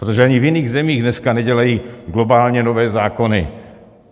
Protože ani v jiných zemích dneska nedělají globálně nové zákony.